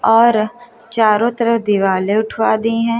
और चारों तरफ दीवालें उठवा दी है।